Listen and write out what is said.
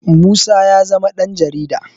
Musa ya zama ɗanJarida